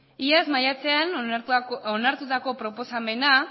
iazko maiatzean onartutako proposamena